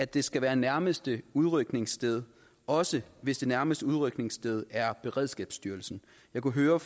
det skal være nærmeste udrykningssted også hvis det nærmeste udrykningssted er hos beredskabsstyrelsen jeg kunne høre